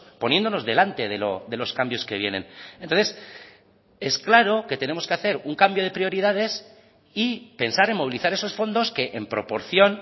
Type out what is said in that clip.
poniéndonos delante de los cambios que vienen entonces es claro que tenemos que hacer un cambio de prioridades y pensar en movilizar esos fondos que en proporción